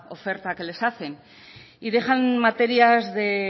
oferta que les hacen y dejan materias de